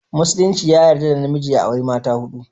Musulinci ya yarda da namiji ya auri mata hudu